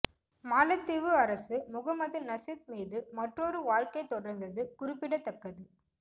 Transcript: மாலத்தீவு அரசு முகமது நசீத் மீது மற்றொரு வழக்கை தொடர்ந்தது குறிப்பிடத்தக்கது